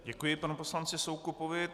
Děkuji panu poslanci Soukupovi.